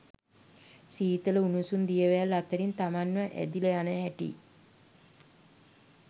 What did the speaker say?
සීතල උණුසුම් දියවැල් අතරින් තමන්ව ඇදිලා යන හැටි